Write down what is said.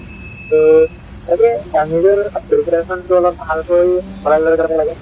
তো তাকেই নিজৰ preparation টো অলপ ভালকৈ চলাই লৈ যাব লাগে ।